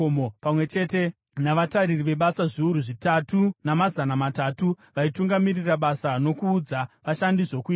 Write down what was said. pamwe chete navatariri vebasa zviuru zvitatu namazana matatu vaitungamirira basa nokuudza vashandi zvokuita.